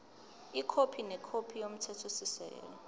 ikhophi nekhophi yomthethosisekelo